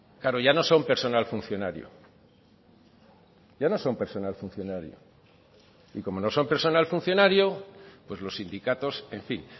claro ya no son personal funcionario ya no son personal funcionario y como no son personal funcionario pues los sindicatos en fin